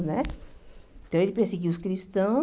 Né? Então ele perseguiu os cristãos.